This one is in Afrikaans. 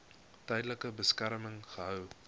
tydelike beskerming gehou